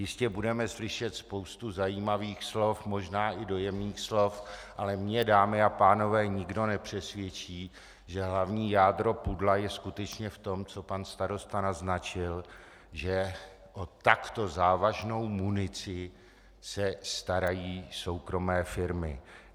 Jistě budeme slyšet spoustu zajímavých slov, možná i dojemných slov, ale mě, dámy a pánové, nikdo nepřesvědčí, že hlavní jádro pudla je skutečně v tom, co pan starosta naznačil, že o takto závažnou munici se starají soukromé firmy.